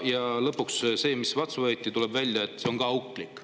Ja lõpuks see, mis vastu võeti, tuleb välja, on ka auklik.